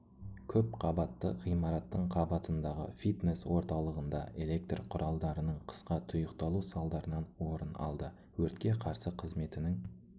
көпқабатты ғимараттың қабатындағы фитнес орталығында электр құралдарының қысқа тұйықталу салдарынан орын алды өртке қарсы қызметінің